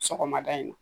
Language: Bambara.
Sɔgɔmada in na